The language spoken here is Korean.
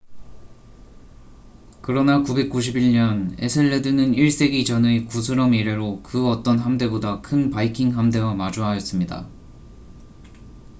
그러나 991년 에셀레드는 1세기 전의 구스럼 이래로 그 어떤 함대보다 큰 바이킹 함대와 마주하였습니다